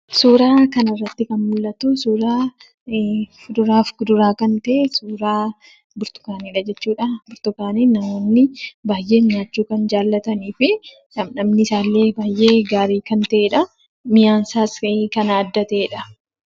Suuraa kanarratti kan mul'atu Suuraa kuduraaf muduraa kan ta’e, suuraa Burtukaaniidha jechuudha. Burtukaaniin namootni baay'een nyaachuu kan jaallatanii fi dhadhamni isaallee baay'ee haarii kan ta’edha. Mi'aan isaas baay'ee kan adda ta'edha.